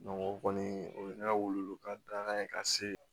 o kɔni o ye ne ka weleweleka da ye ka se